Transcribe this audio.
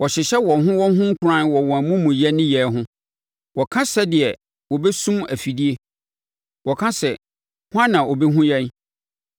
Wɔhyehyɛ wɔn ho wɔn ho nkuran wɔ wɔn amumuyɛ nneyɛeɛ ho, wɔka sɛdeɛ wɔbɛsum afidie; wɔka sɛ, “Hwan na ɔbɛhunu yɛn?”